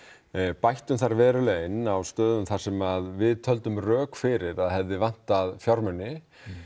bættum þar verulega inn þar sem við töldum rök fyrir að hefði vantað fjármuni